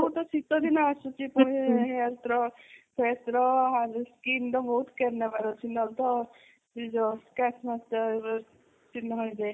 ଆଗକୁ ତ ଶୀତ ଦିନ ଆସୁଛି ପୁଣି hairs ର face ର skin ର ବହୁତ care ନବା ର ଅଛି ନହେଲେ ତ stretch mark ର ଚିହ୍ନ ହେଇଯାଏ